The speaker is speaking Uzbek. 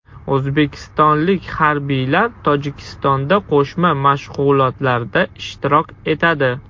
O‘zbekistonlik harbiylar Tojikistonda qo‘shma mashg‘ulotlarda ishtirok etadi.